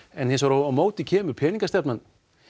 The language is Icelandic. en hins vegar á móti kemur peningastefnan